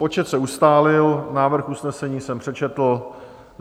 Počet se ustálil, návrh usnesení jsem přečetl.